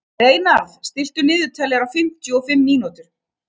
Reynarð, stilltu niðurteljara á fimmtíu og fimm mínútur.